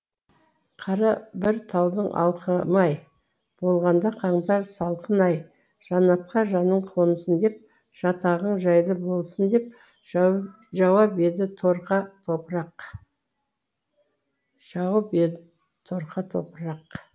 қара бір таудың алқымы ай болғанда қаңтар салқыны ай жаннатқа жаның қонсын деп жатағың жайлы болсын деп жауып ед торқа топырақ